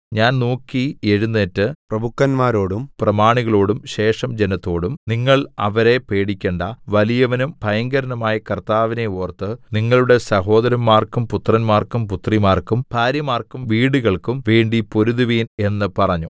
ഞാൻ നോക്കി എഴുന്നേറ്റ് പ്രഭുക്കന്മാരോടും പ്രമാണികളോടും ശേഷം ജനത്തോടും നിങ്ങൾ അവരെ പേടിക്കേണ്ടാ വലിയവനും ഭയങ്കരനുമായ കർത്താവിനെ ഓർത്ത് നിങ്ങളുടെ സഹോദരന്മാർക്കും പുത്രന്മാർക്കും പുത്രിമാർക്കും ഭാര്യമാർക്കും വീടുകൾക്കും വേണ്ടി പൊരുതുവിൻ എന്ന് പറഞ്ഞു